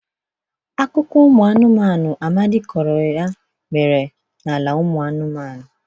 Akụkọ ụmụ mmụọ Amadị kọrọ ya mere n'ala ụmụ mmụọ.